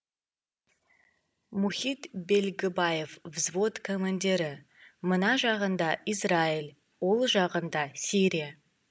мұхит белгібаев взвод командирі мына жағында израиль оң жағында сирия